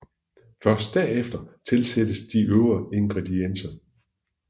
Først derefter tilsættes de øvrige ingredienser